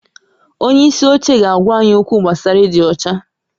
Onye isi oche ga-agwa anyị okwu gbasara ịdị ọcha